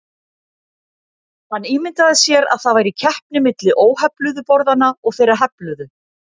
Hann ímyndaði sér að það væri keppni milli óhefluðu borðanna og þeirra hefluðu.